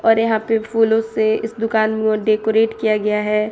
और यहां पे फूलों से इस दुकान में डेकोरेट किया गया है।